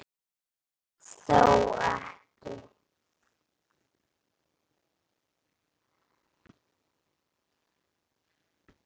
Þó ekki.